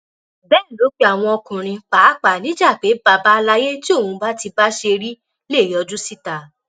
bẹẹ ló pe àwọn ọkùnrin pàápàá níjà pé bàbá àlàyé tí òun bá ti bá ṣe rí lè yọjú síta